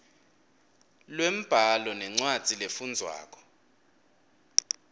lwembhalo nencwadzi lefundvwako